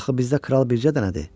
Axı bizdə kral bircə dənədir.